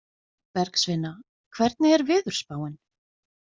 Bergsveina, hvernig er veðurspáin?